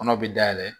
Kɔnɔ bɛ dayɛlɛ